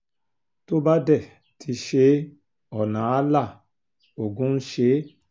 tó bá dé ti ṣe é ọ̀nà áà la ogun ń ṣe é